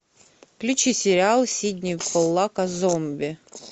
включи сериал сидни поллака зомби